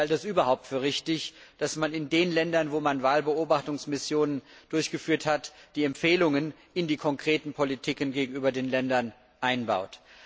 Ich halte es überhaupt für richtig, dass man in den Ländern, wo man Wahlbeobachtungsmissionen durchgeführt hat, die Empfehlungen in die konkreten Politiken gegenüber den Ländern einbaut.